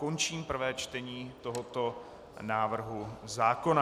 Končím prvé čtení tohoto návrhu zákona.